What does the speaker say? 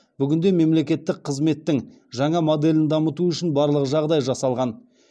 бүгінде мемлекеттік қызметтің жаңа моделін дамыту үшін барлық жағдай жасалған